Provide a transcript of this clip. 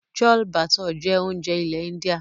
Chloe bature jẹ́ oúnjẹ ilẹ̀ india.